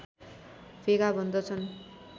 भेगा भन्दछन्